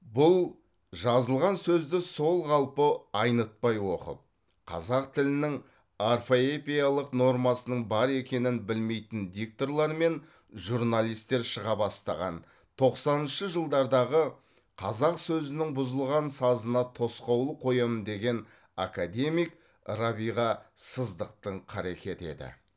бұл жазылған сөзді сол қалпы айнытпай оқып қазақ тілінің орфоэпиялық нормасының бар екенін білмейтін дикторлар мен журналистер шыға бастаған тоқсаныншы жылдардағы қазақ сөзінің бұзылған сазына тосқауыл қоямын деген академик рабиға сыздықтың қаракеті еді